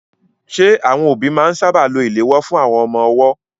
Ṣé àwọn òbí máa ń sáábà lo ìléwọ́ fún àwọn ọmọ ọwọ́?